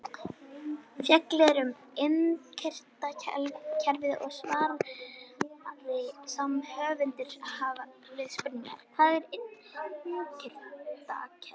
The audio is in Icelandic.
Fjallað er um innkirtlakerfið í svari sama höfundar við spurningunni Hvað er innkirtlakerfi?